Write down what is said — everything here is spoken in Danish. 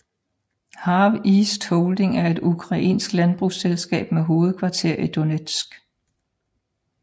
HarvEast Holding er et ukrainsk landbrugsselskab med hovedkvarter i Donetsk